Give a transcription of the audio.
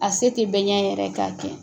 A se tɛ bɛn ɲɛ yɛrɛ k'a kɛ.